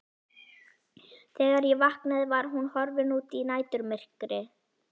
Þegar ég vaknaði var hún horfin út í næturmyrkrið.